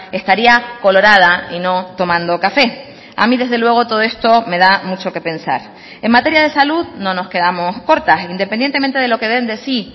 estaría colorada y no tomando café a mí desde luego todo esto me da mucho que pensar en materia de salud no nos quedamos cortas independientemente de lo que den de sí